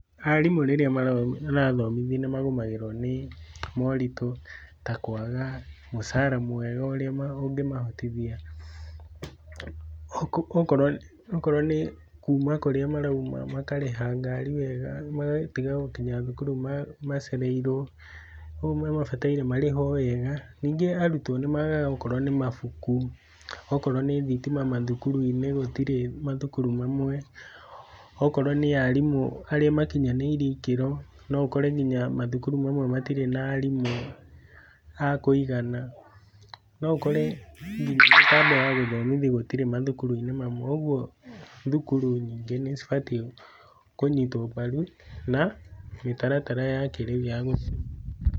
Arimũ rĩrĩa mara, marathomithi nĩmagomagĩrwo nĩ, moritũ, ta kwaga, mucara mwega ũrĩa ũngĩmahotithia, okoo, okorwo okorwo nĩ, kuma kũrĩa marauma makarĩha ngari wega, magatiga gũkinya thukuru, ma macereirwo. Oguo nĩmabatairio marĩhwo wega, ningĩ arutwo nĩmagaga gũkorwo na mabuku, okorwo nĩ thitima mathukuru-inĩ gũtirĩ mathukuru mamwe, okorwo ni arimũ, harĩa makinyanĩirie ikĩro, noũkore nginya, mathukuru mamwe matirĩ nginya, arimũ a kũigana, noũkore nginya mĩtambo ya gũthomithia gũtirĩ mathukuru-inĩ mamwe, ũguo thukuru nyingĩ nĩcibatiĩ kũnyitwo mbaru, na, mĩtaratara ya kĩrĩu ya gũthomithia.